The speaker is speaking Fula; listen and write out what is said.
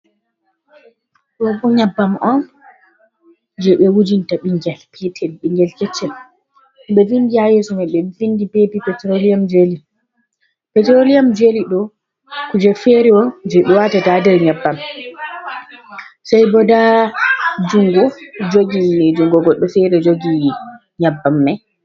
Ɗo bo nyebbam on je ɓe wujinta ɓingel petel ɓingel keccel ɓe vindi ha yeso mai ɓe vindi bebi petrolium jely. etrolium jely ɗo kuje fere on je ɓe watata ha nder nyabbam sai bo nda jungo jogi ni jungo goɗɗo fere jogi nyabbam mai.